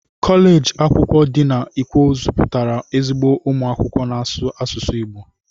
Koleji akwụkwọ di na ikwo zuputara ezigbo umu akwụkwọ n'asụsụ Igbo.